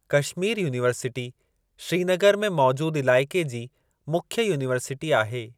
Kashmir university Srinagar में मौजूदु इलाइक़े जी मुख्य यूनिवर्सिटी आहे।